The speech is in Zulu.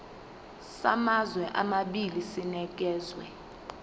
samazwe amabili sinikezwa